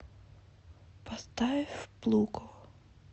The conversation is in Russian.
поставь плуко